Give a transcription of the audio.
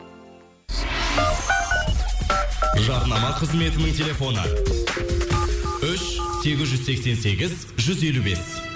жарнама қызметінің телефоны үш сегіз жүз сексен сегіз жүз елу бес